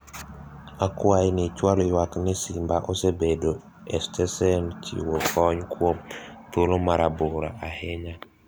akwayi ni ichwal ywak ni simba osebedo e stesen chiwo kony kuom thuolo marabora ahinya